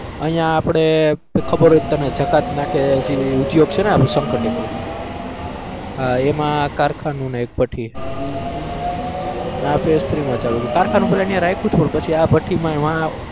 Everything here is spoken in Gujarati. અહીંયા આપડે ખબર હોય તને જગાતનાકે ગૃહઉદ્યોગ છે ને આપણે શંકર ટેકરી હા એમાં કારખાનું અને એક ભઠ્ઠી અને આ phase three માં ચાલુ કારખાનું પેલા રાયખું તું પછીઆ ભઠ્ઠીમાં એ